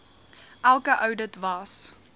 elke oudit was